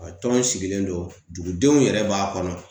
A tɔn sigilen don dugudenw yɛrɛ b'a kɔnɔ